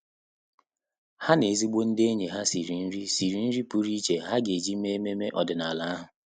Há na ezigbo ndị ényì ha sìrì nrí sìrì nrí pụ́rụ́ iche há gà-éjí mèé ememe ọ́dị́nála ha.